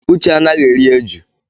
Uche anaghị eri eju.